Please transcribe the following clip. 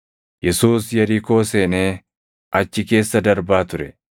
Yesuus Yerikoo seenee achi keessa darbaa ture.